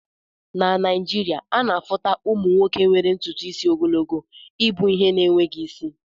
Na Naịjirịaana afuta ụmụ nwoke nwere ntutu isi ogologo ibu ihe na-enweghị isi